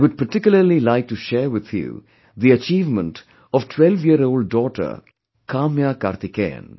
I would particularly like to share with you, the achievement of twelveyearold daughter Kamya Karthikeyan